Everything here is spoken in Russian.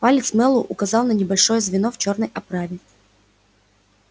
палец мэллоу указал на небольшое звено в чёрной оправе